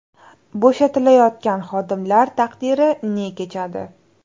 Bo‘shatilayotgan xodimlar taqdiri ne kechadi?